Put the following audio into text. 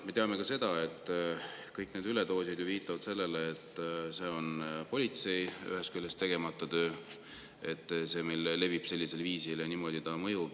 Me teame ka seda, et kõik need üledoosid viitavad sellele, et see on ühest küljest politsei tegemata töö – see, et ta meil levib sellisel viisil ja niimoodi mõjub.